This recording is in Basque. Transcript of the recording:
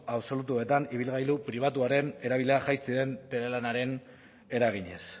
absolutuetan ibilgailu pribatuaren erabilera jaitsi den telelanaren eraginez